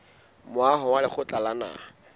moaho wa lekgotla la naha